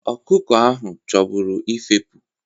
Ọkụkọ ahụ chọburu ifefu.